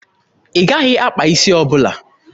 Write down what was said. Ị gaghị akpa isi ọbụla!